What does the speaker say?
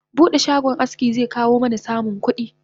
Bude shagon aski zekawo mana samun kudi